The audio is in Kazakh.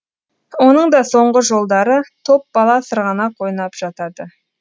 оның да соңғы жолдары топ бала сырғанақ ойнап жатады